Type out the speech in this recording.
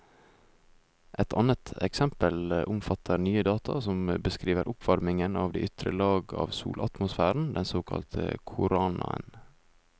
Et annet eksempel omfatter nye data som beskriver oppvarmingen av de ytre lag av solatmosfæren, den såkalte koronaen.